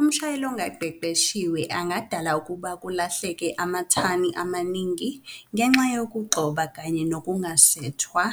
Umshayeli ongaqeqeshiwe angadala ukuba kulahleke amathani amaningi ngenxa yokugxoba kanye nokungasethwa